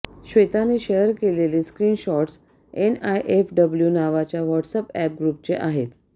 श्वेताने share केलेले screenshots N I F W नावाच्या WhatsApp ग्रुपचे आहेत